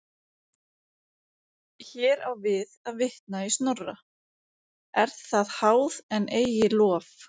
Hér á við að vitna í Snorra: er það háð en eigi lof.